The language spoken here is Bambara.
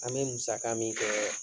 An be musaka min kɛɛ